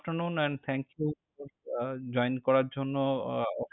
Good Afternoon and thank you, join করার জন্য।